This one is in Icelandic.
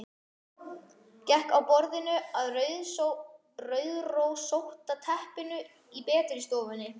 Gekk frá borðinu að rauðrósótta teppinu í betri stofunni.